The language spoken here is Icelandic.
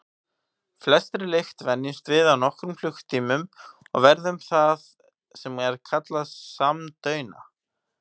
Flestri lykt venjumst við á nokkrum klukkutímum og verðum það sem er kallað samdauna.